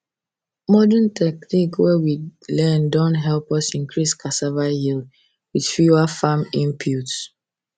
modern technique wey we learn don help us increase cassava yield with fewer farm inputs